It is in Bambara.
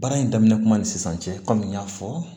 Baara in daminɛ kuma ni sisan cɛ kɔmi n y'a fɔ